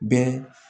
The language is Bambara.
Bɛɛ